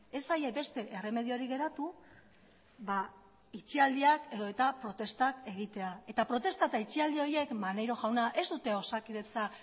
ez zaie beste erremediorik geratu ba itxialdiak edo eta protestak egitea eta protesta eta itxialdi horiek maneiro jauna ez dute osakidetza